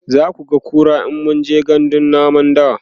zakuga kura in mun je gandun namun dawa